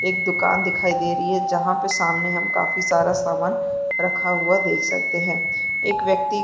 एक दुकान दिखाई दे रही है जहाँ पे सामने हम काफी सारा सामान रखा हुआ देख सकते है एक व्यक्ति--